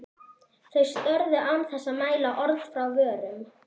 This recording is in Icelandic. Þau störðu án þess að mæla orð frá vörum.